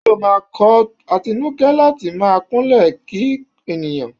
Ṣé ó máa kọ́ Atinúkẹ́ láti máa kúnlẹ̀ kí ènìyàn?